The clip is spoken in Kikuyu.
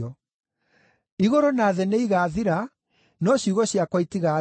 Igũrũ na thĩ nĩigathira, no ciugo ciakwa itigathira.